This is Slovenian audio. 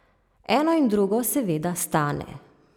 Eno in drugo seveda stane.